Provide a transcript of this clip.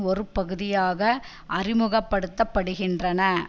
ஒரு பகுதியாக அறிமுகப்படுத்த படுகின்றன